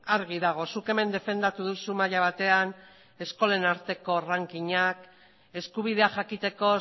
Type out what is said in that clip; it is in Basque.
argi dago zuk hemen defendatu duzu maila batean eskolen arteko rankignak eskubidea jakiteko